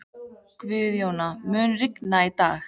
Gunnjóna, mun rigna í dag?